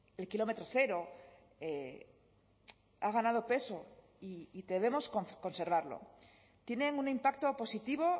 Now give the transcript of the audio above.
el kilómetro cero ha ganado peso y debemos conservarlo tienen un impacto positivo